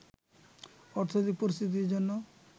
অর্থনৈতিক পরিস্থিতির জন্য